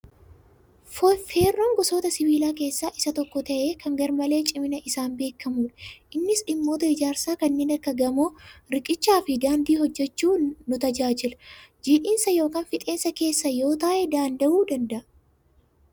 Feerroon gosoita sibiilaa keessa isa tokko ta'ee kan garmalee cimina isaan beekamuudha. Innis dhimmoota ijaarsa kanneen akka gamoo, riiqichaa fi daandii hojjachuu nu tajaajila. Jiidhinsa yookan fixeensa keessa yoo taa'e daanda'uu danda'a.